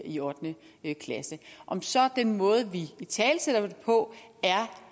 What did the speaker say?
i ottende klasse om så den måde vi italesætter det på